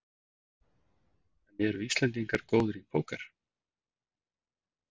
En eru Íslendingar góðir í Póker?